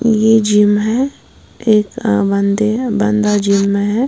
यह जिम है एक अ बंदी है बंदा जिम में है।